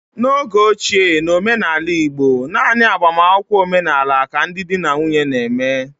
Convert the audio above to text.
N'oge ochie, n'omenala igbo, naanị agbamakwụkwọ omenala ka ndị di na nwunye na-eme